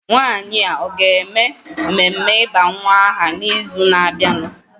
Nwanyị a ọ ga-eme mmeme ịba aha n'ịzụ na-abịanụ?